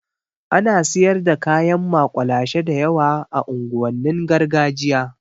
Alot of street food is being sold in the ghetto area